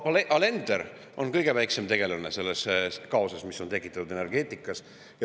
Proua Alender on kõige väiksem tegelane selles kaoses, mis on tekitatud energeetikas.